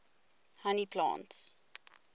honey plants